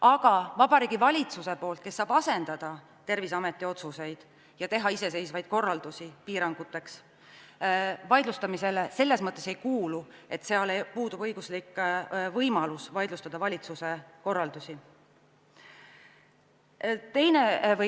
Aga Vabariigi Valitsuse iseseisvalt antavad korraldused, mis saavad asendada Terviseameti otsuseid, vaidlustamisele ei kuulu, sest puudub õiguslik võimalus valitsuse korraldusi vaidlustada.